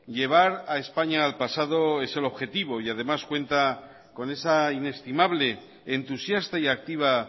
llevar a españa al pasado es el objetivo y además cuenta con esa inestimable entusiasta y activa